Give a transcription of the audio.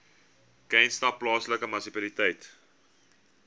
knysna plaaslike munisipaliteit